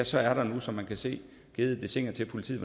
så er der nu som man kan se givet dessiner til politiet